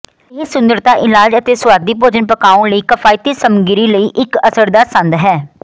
ਇਹ ਸੁੰਦਰਤਾ ਇਲਾਜ ਅਤੇ ਸੁਆਦੀ ਭੋਜਨ ਪਕਾਉਣ ਲਈ ਕਿਫਾਇਤੀ ਸਮੱਗਰੀ ਲਈ ਇੱਕ ਅਸਰਦਾਰ ਸੰਦ ਹੈ